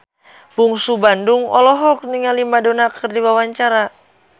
Bungsu Bandung olohok ningali Madonna keur diwawancara